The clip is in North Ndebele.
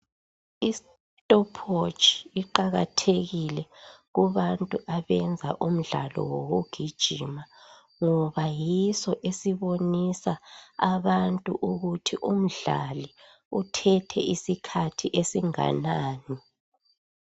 Istopwatch iqakathekile kubantu abenza imidlalo wokugijima ngoba yiso esibonisa abantu ukuthi umdlali uthethe isikhathi esinganani.